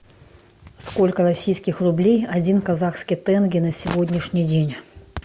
сколько российских рублей один казахский тенге на сегодняшний день